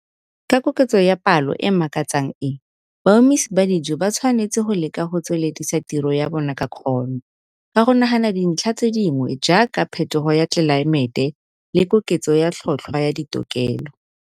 Ka koketso ya palo e e makatsang e, baumisi ba dijo ba tshwanetse go leka go tsweledisa tiro ya bona ka kgono, ka go nagana dintlha tse dingwe jaaka phethogo ya tlelaemete le koketso ya tlhotlhwa ya ditokelelo.